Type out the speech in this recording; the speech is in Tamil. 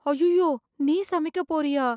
அய்யய்யோ நீ சமைக்க போறியா